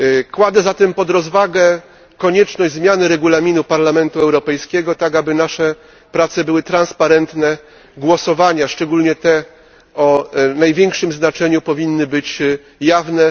Kładę zatem pod rozwagę konieczne zmiany Regulaminu Parlamentu Europejskiego, tak aby nasze prace były transparentne głosowania, szczególnie te o największym znaczeniu, powinny być jawne.